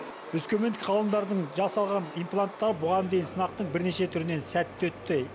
өскемендік ғалымдардың жасаған импланттары бұған дейін сынақтың бірнеше түрінен сәтті өтті